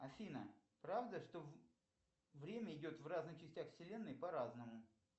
афина правда что время идет в разных частях вселенной по разному